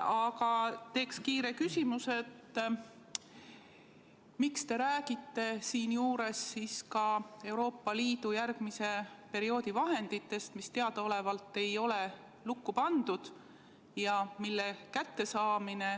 Aga teen kiire küsimuse: miks te räägite siinjuures siis ka Euroopa Liidu järgmise perioodi vahenditest, mis teadaolevalt ei ole lukku pandud ja mille kättesaamine